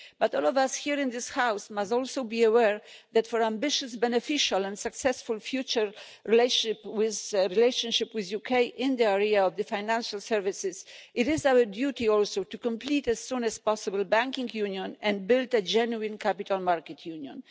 But all of us here in this House must also be aware that for an ambitious, beneficial and successful future relationship with the UK in the area of financial services, it is our duty also to complete as soon as possible the Banking Union and build a genuine capital market union.